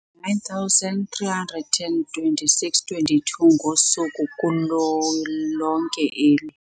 9326 22 ngosuku kulo lonke eli.